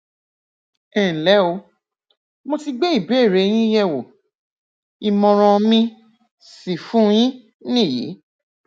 ẹnlẹ o mo ti gbé ìbéèrè yín yẹ wò ìmọràn mi sì fún yín nìyí